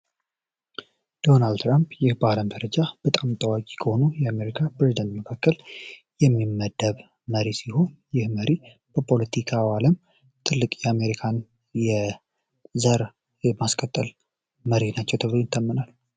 ዶናል ትራምፕ በጣም ታዋቂ ከሆኑ የአሜሪካን መካከል የሚመደብ መሪ ሲሆን በፖለቲካ ዓለም ትልቅ የአሜሪካን የዘር የማስቀጠል መሪ ናቸው ተብሎ ይታመናል